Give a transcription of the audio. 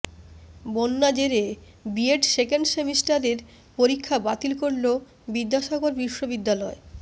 বন্যা জেরে BEd second সেমিস্টারের পরীক্ষা বাতিল করল বিদ্যাসাগর বিশ্ববিদ্যালয়